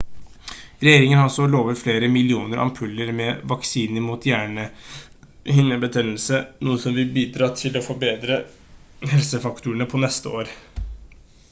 regjeringen har også lovet flere millioner ampuller med vaksine mot hjernehinnebetennelse noe som vil bidra til å forberede helseforetakene på neste år